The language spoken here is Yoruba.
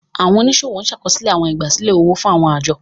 Àwọn oniṣiro ṣakoso áwọn igbasilẹ ówò fun áwọn ajo.